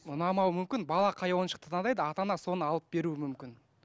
ұнамауы мүмкін бала қай ойыншықты таңдайды ата ана соны алып беруі мүмкін